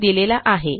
यांनी दिलेला आहे